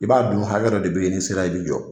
I b'a dɔni hakɛ dɔ de bɛ ye n'i sera i bɛ jɔ.